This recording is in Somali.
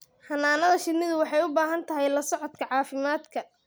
Xannaanada shinnidu waxay u baahan tahay la socodka caafimaadka.